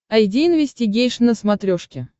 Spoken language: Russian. айди инвестигейшн на смотрешке